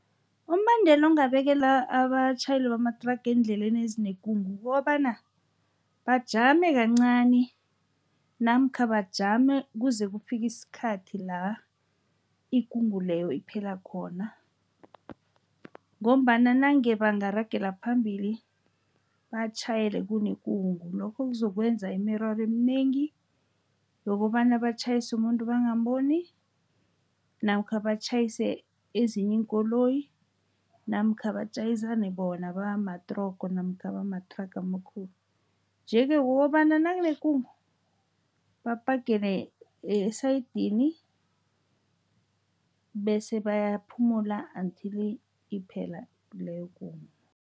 Umbandela ongabekelwa abatjhayeli bamathraga eendleleni ezinekungu kukobana bajame kancani, namkha bajame kuze kufike isikhathi la inkungu leyo iphela khona. Ngombana nange bangaragela phambili batjhayele kunekungu, lokho kuzokwenza imiraro eminengi yokobana batjhayise umuntu bangaboni, namkha batjhayisa ezinye iinkoloyi, namkha batjhayisane bona bamatrogo namkha bamathraga amakhulu. Nje-ke, kukobana nakunekungu baphagele esayidini, bese bayaphumula until iphela leyokungu.